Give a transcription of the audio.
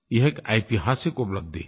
यह एक ऐतिहासिक उपलब्धि है